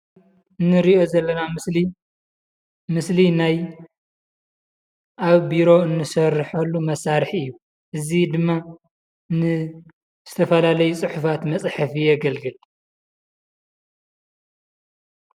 እንሪኦ ዘለና ምስሊ ምስለ ናይ ኣብ ቦሮ እንሰርሖ መሳርሒ እዩ። እዚ ድማ ንዝተፈላለዩ ፅሕፋት መፅሐፊ የገልግል።